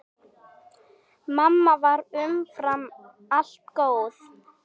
Mamma var umfram allt góð.